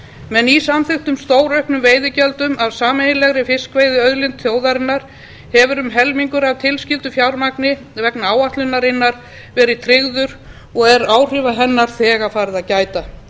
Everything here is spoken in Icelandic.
með nýsamþykktum stórauknum veiðigjöldum af sameiginlegri fiskveiðiauðlind þjóðarinnar hefur um helmingur af tilskildu fjármagni vegna áætlunarinnar verið tryggður og er áhrifa hennar þegar farið að gæta